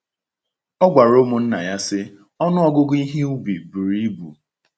Ọ gwara ụmụnna ya sị: “Ọnụ ọgụgụ ihe ubi buru ibu…”